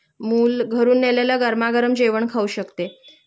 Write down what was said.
मुलं घरून नेलेलं गरमागरम जेवण खाऊ शकते